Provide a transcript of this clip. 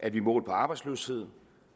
at vi målt på arbejdsløshed